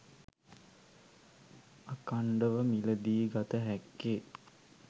අඛණ්ඩව මිලදී ගත හැක්කේ